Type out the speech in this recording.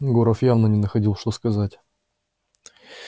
горов явно не находил что сказать